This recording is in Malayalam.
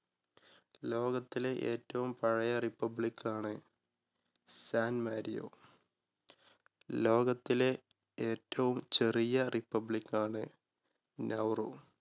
ലോകത്തിലെ ഏറ്റവും പഴയെ republic ണ് സാൻ മാരിയോ ലോകത്തിലെ ഏറ്റവും ചെറിയ republic ണ് നൗറോ.